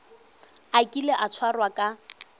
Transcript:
a kile a tshwarwa ka